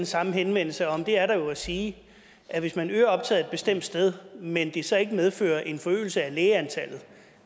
samme henvendelse og om det er der jo at sige at hvis man øger optaget et bestemt sted men det så ikke medfører en forøgelse af lægeantallet